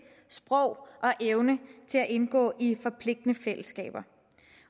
sprog og evne til at indgå i forpligtende fællesskaber